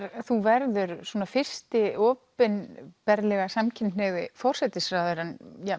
þú verður svo fyrsti opinberlega samkynhneigði forsætisráðherrann